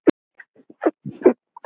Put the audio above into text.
PÁLL: Nær sextíu.